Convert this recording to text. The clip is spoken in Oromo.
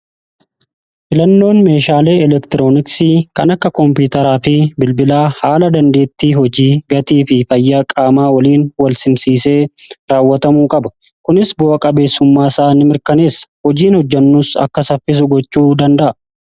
filannoon meeshaalee elektirooniksii kan akka koompitaraa fi bilbilaa haala dandeetti hojii gatii fi fayyaa qaamaa waliin walsimsiisee raawwatamuu qaba kunis bu'a qabeessummaa isaani mirkaneessa hojiin hojjannus akka saffisu gochuu danda'a.